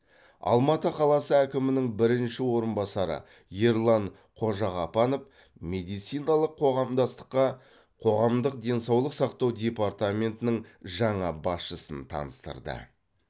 алматы қаласы әкімінің бірінші орынбасары ерлан қожағапанов медициналық қоғамдастыққа қоғамдық денсаулық сақтау департаментінің жаңа басшысын таныстырды